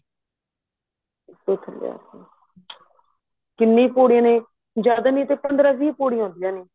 ਉਤੋ ਤੋ ਥੱਲੇ ਆਦੇ ਨੇ ਕਿੰਨੀ ਪੋੜੀਆਂ ਨੇ ਜਿਆਦਾ ਨਹੀਂ ਪੰਦਰਾਂ ਵੀਹ ਪੋੜੀਆਂ ਹੁੰਦੀਆਂ ਨੇ